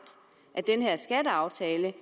af den her skatteaftale